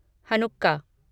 Hanukkah